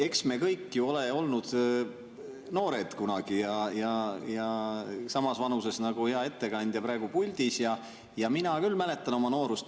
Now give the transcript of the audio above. Eks me kõik ju ole kunagi olnud noored, samas vanuses nagu hea ettekandja praegu puldis, ja mina küll mäletan oma noorust.